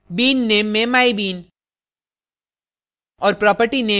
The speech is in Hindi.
bean name में mybean